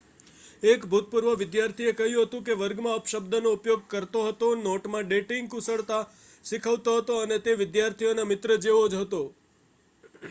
એક ભૂતપૂર્વ વિદ્યાર્થીએ કહ્યું કે તે વર્ગમાં અપશબ્દનો ઉપયોગ કરતો હતો નોટમાં ડેટિંગ કુશળતા શીખવતો હતો અને તે વિદ્યાર્થીઓના મિત્ર જેવો જ હતો.'